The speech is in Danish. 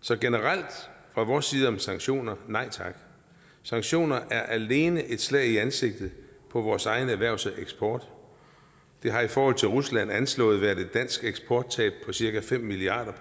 så generelt fra vores side om sanktioner nej tak sanktioner er alene et slag i ansigtet på vores eget erhvervsliv og eksport der har i forhold til rusland anslået været et dansk eksporttab på cirka fem milliard